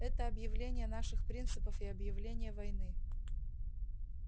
это объявление наших принципов и объявление войны